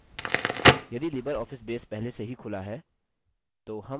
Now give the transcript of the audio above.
यदि libreoffice base पहले से ही खुला है